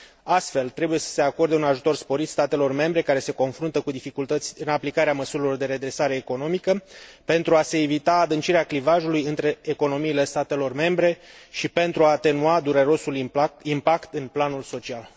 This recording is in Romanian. Astfel, trebuie să se acorde un ajutor sporit statelor membre care se confruntă cu dificultăți în aplicarea măsurilor de redresare economică pentru a se evita adâncirea clivajului între economiile statelor membre și pentru a atenua durerosul impact în planul social.